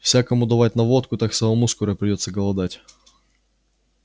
всякому давать на водку так самому скоро придётся голодать